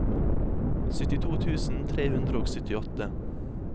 syttito tusen tre hundre og syttiåtte